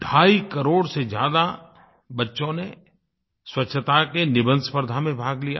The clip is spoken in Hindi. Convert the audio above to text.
ढाई करोड़ से ज़्यादा बच्चों ने स्वच्छता के निबंधस्पर्धा में भाग लिया